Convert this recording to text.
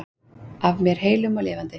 Að mér heilum og lifandi.